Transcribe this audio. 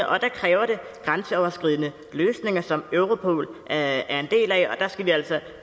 og der kræver det grænseoverskridende løsninger som europol er en del af og der skal vi altså